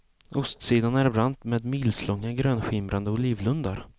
Ostsidan är brant med milslånga grönskimrande olivlundar.